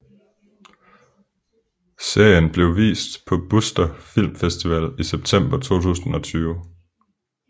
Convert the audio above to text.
Serien blev vist på Buster Filmfestival i september 2020